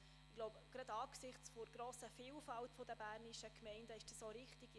Ich glaube, das ist gerade angesichts der grossen Vielfalt der bernischen Gemeinden richtig.